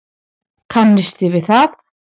Kannisti við það!